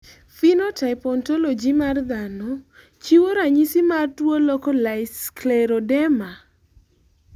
Phenotype Ontology mar dhano chiwo ranyisis mar tuo Localised scleroderma